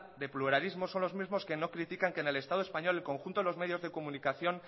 de pluralismo son los mismos que no critican que en el estado español el conjunto de los medios de comunicación